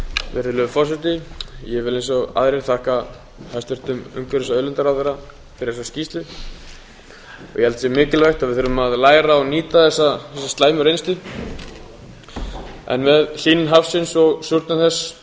virðulegur forseti ég vil eins og aðrir þakka hæstvirtum umhverfis og auðlindaráðherra fyrir þessa skýrslu ég held að það sé mikilvægt að við förum að læra og nýta þessa slæmu reynslu en með hlýnun hafsins og súrnun þess